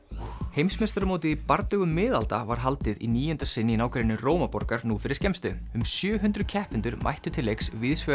heimsmeistaramótið í bardögum miðalda var haldið í níunda sinn í nágrenni nú fyrir skemmstu um sjö hundruð keppendur mættu til leiks víðsvegar